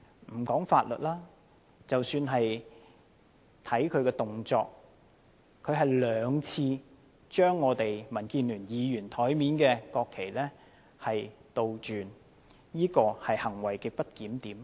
不談法律，單看其動作，他兩次將民主建港協進聯盟議員桌上的國旗倒轉擺放，這是行為極不檢點。